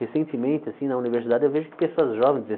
Recentemente, assim, na universidade, eu vejo que pessoas jovens,